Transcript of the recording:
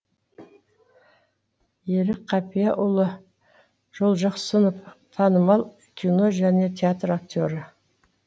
ерік қапиұлы жолжақсынов танымал кино және театр актері